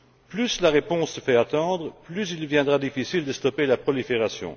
Plus la réponse se fait attendre, plus il deviendra difficile de stopper la prolifération.